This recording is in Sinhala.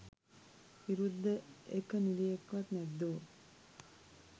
විරුද්ධ එක නිළියෙක්වත් නැද්දෝ.?